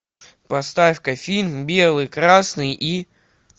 поставь ка фильм белый красный и